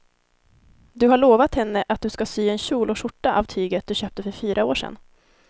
Du har lovat henne att du ska sy en kjol och skjorta av tyget du köpte för fyra år sedan.